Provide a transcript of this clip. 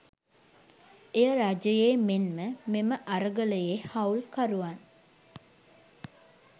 එය රජයේ මෙන්ම මෙම අරගලයේ හවුල්කරුවන්